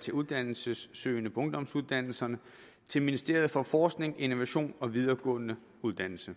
til uddannelsessøgende på ungdomsuddannelserne til ministeriet for forskning innovation og videregående uddannelser